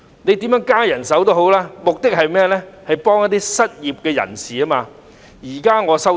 當局增聘人手，目的不就是協助失業人士嗎？